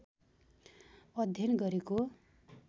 अध्ययन गरेको